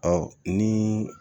Ɔ ni